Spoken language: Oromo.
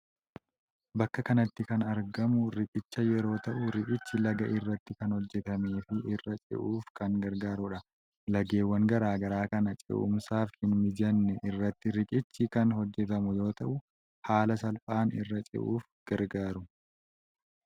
Bakka kanatti kan argamu riqicha yeroo ta'u riqichi laga irratti kan hojjetamee fi irra ce'uuf kan gargaarudha. Lageewwan garagaraa kan ce'umsaaf hin mijanne irratti riqichi kan hojjetamu yoo ta’u haala salphaan irra ce'uuf gargaaru.